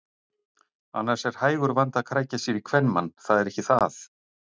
Annars er hægur vandi að krækja sér í kvenmann, það er ekki það.